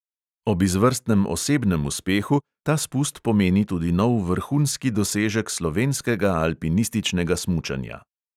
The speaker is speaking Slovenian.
Ob izvrstnem osebnem uspehu ta spust pomeni tudi nov vrhunski dosežek slovenskega alpinističnega smučanja.